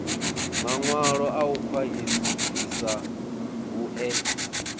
mawalo a u khwahisa vhue